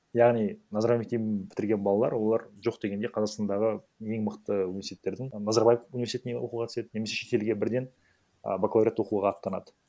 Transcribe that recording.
яғни назарбаев мектебін бітірген балалар олар жоқ дегенде қазақстандағы ең мықты университеттердің назарбаев университетіне оқуға түседі немесе шетелге бірден а бакалавриат оқуға ақтанады